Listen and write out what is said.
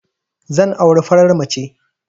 Zan auri farar mace